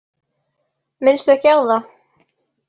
Minnstu ekki á það.